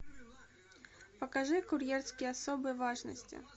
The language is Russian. покажи курьерский особой важности